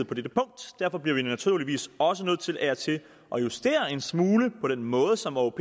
på dette punkt derfor bliver vi naturligvis også nødt til af og til at justere en smule på den måde som åop